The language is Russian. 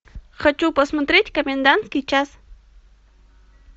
хочу посмотреть комендантский час